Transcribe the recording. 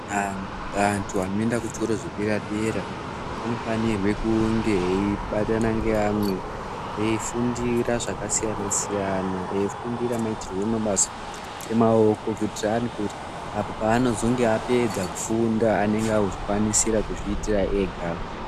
Vantu vanoenda kuzvikora zvedera dera vanofanirwa kunge eibatana ngeamwe eifundira zvakasiyana siyana eifundira maitirwo emabasa Emaoko kuitira kuti azopedza kufunda anenge eikwanisa kuzviitira ega.